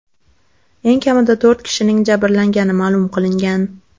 Eng kamida to‘rt kishining jabrlangani ma’lum qilingan.